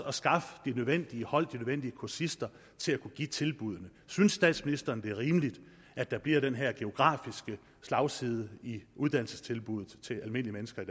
at skaffe de nødvendige hold de nødvendige kursister til at kunne give tilbuddene synes statsministeren det er rimeligt at der bliver den her geografiske slagside i uddannelsestilbud til almindelige mennesker i